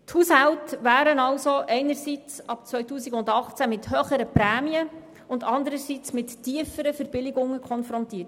Die Haushalte werden folglich einerseits ab 2018 mit höheren Prämien und andererseits mit tieferen Verbilligungen konfrontiert.